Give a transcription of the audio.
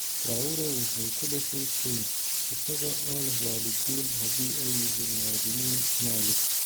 Traore wuxuu ku dhashay Spain, isaga oo leh waalidiin haddi ay yihiin muwaadiniin Mali.